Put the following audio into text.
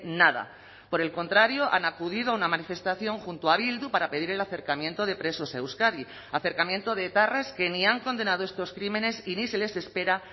nada por el contrario han acudido a una manifestación junto a bildu para pedir el acercamiento de presos a euskadi acercamiento de etarras que ni han condenado estos crímenes y ni se les espera